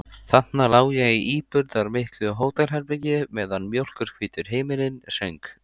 Þarna lá ég í íburðarmiklu hótelherbergi meðan mjólkurhvítur himinninn söng.